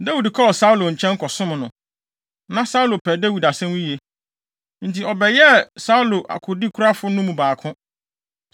Dawid kɔɔ Saulo nkyɛn kɔsom no. Na Saulo pɛ Dawid asɛm yiye, enti ɔbɛyɛɛ Saulo akodekurafo no mu baako.